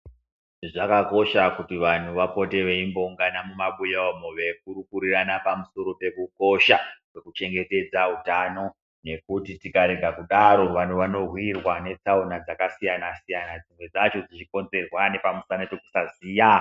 Zvakakosha kuti vanhu vapote veimboungana mumabuya umo veikurukurirana pamusana pekukosha kwekuchengetedza utano ngekuti tikarega kudaro vanhu vanowirwa netsaona dzakasiyana-siyana dzimwe dzacho dzichikonzwerwa nepamusana pekusaziya.